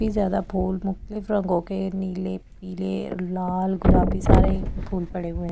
भी ज्यादा फूल मुख्तलिफ रंगों के नीले पीले लाल गुलाबी सारे फूल पड़े हुए है।